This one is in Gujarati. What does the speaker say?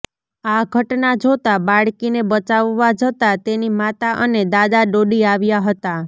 આ ઘટના જોતા બાળકીને બચાવવા જતા તેની માતા અને દાદા દોડી આવ્યા હતા